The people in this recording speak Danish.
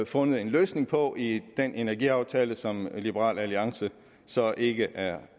fundet en løsning på i den energiaftale som liberal alliance så ikke er